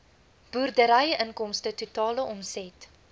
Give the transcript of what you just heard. boerderyinkomste totale omset